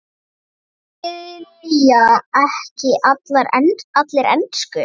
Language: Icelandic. Skilja ekki allir ensku?